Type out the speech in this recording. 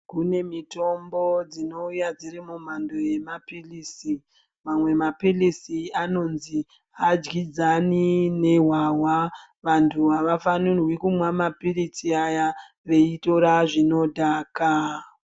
Kune mitombo dzinouya dziri mumhando yemapiritsi. Amwe mapiritsi anonzi aadyidzane nehwahwa. Vantu havafaniri kumwa mapirizi aya veitora zvinodhaka.